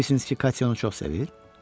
Deyirsiniz ki, Katya onu çox sevir?